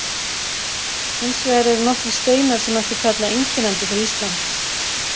Hins vegar eru nokkrir steinar sem mætti kalla einkennandi fyrir Ísland.